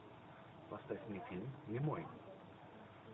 поставь мне фильм немой